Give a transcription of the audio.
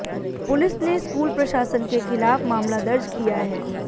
police ने school प्रशासन के खिलाफ मामला दर्ज किया है